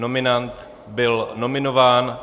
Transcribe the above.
Nominant byl nominován.